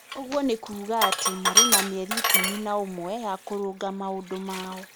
Ũguo nĩ kuuga atĩ marĩ na mĩeri ikũmi na ũmwe ya kũrũnga maũndũ mao.